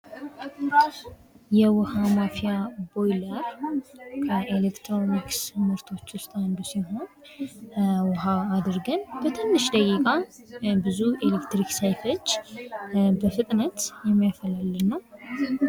የውሃ ማፊያ ቦይለር ከኤሌክትሮኒክስ ምርቶች ውስጥ አንዱ ሲሆን ውሃ አድርገን በትንሽ ደቂቃ ብዙ ኤሌክትሪክ ሳይፈጅ በፍጥነት የሚያፈላልን ነው።